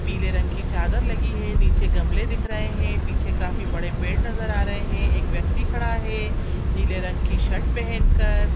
पीले रंग की चादर लगी है नीचे गमले दिख रहे है पिछे काफी बड़े पेड़ नजर आ रहे है एक व्यक्ति खड़ा है नीले रंग के शर्ट पहनकर।